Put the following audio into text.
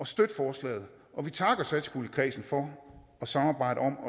støtte forslaget og vi takker satspuljekredsen for at samarbejde om at